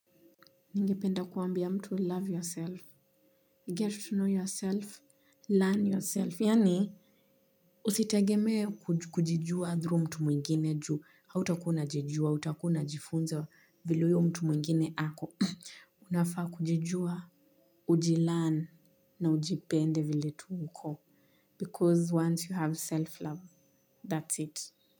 Ningependa kuambia mtu love yourself, get to know yourself, learn yourself, yani usitegeme kujijua through mtu mwingine ju, hauta kuwa unajijua, utakua unajifunza vile uyo mtu mwingine ako. Unafa kujijua, uji learn na ujipende vile tu uko. Because once you have self love, that's it.